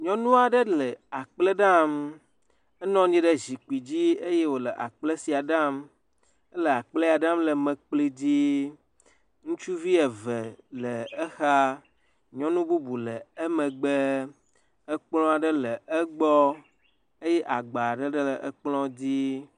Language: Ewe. Nyɔnu aɖe le akplẽ ɖam, enɔ anyi ɖe zikpui dzi eye wole akplẽ sia ɖam. Ele akplẽ ya ɖam le mekpli dzi. Ŋutsuvi eve le exa. Nyɔnu bubu le emegbe. Kplɔ̃ aɖe le egbɔ eye agba aɖe le kplɔ̃ dzi.